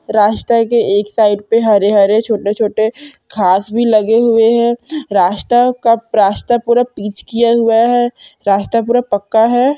रास्ते के एक साइड पे हरे-हरे छोटे-छोटे घास भी लगे हुए है रास्ता कप रास्ता पूरा पिच किया हुआ है रास्ता पूरा पक्का है।